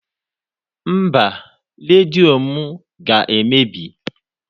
Mba, redio m ga-emebi.